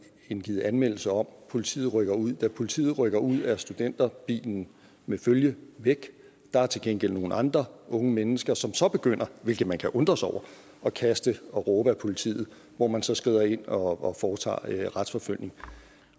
indgivet anmeldelse om politiet rykker ud da politiet rykker ud er studenterbilen med følge væk der er til gengæld nogle andre unge mennesker som så begynder hvilket man kan undres over at kaste og råbe ad politiet hvor man så skrider ind og foretager retsforfølgning